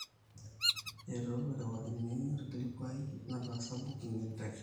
eitu arewakini olkilikuai nataasa booking e nteke